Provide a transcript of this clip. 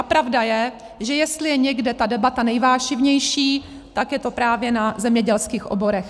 A pravda je, že jestli je někde ta debata nejvášnivější, tak je to právě na zemědělských oborech.